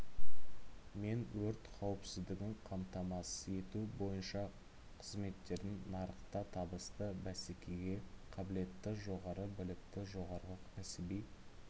мен өрт қауіпсіздігін қаматамасыз ету бойынша қызметтердің нарықта табысты бәсекеге қабілетті жоғары білікті жоғары кәсіби